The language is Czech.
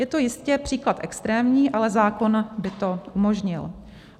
Je to jistě příklad extrémní, ale zákon by to umožnil.